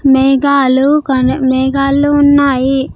మేఘాలు కొన్ని-- మేఘాలు ఉన్నాయి.